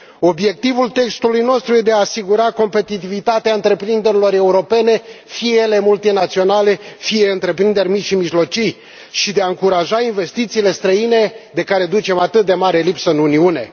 Obiectivul textului nostru e de a asigura competitivitatea întreprinderilor europene, fie ele multinaționale, fie întreprinderi mici și mijlocii, și de a încuraja investițiile străine, de care ducem atât de mare lipsă în Uniune.